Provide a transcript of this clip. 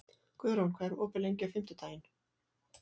Guðrún, hvað er opið lengi á fimmtudaginn?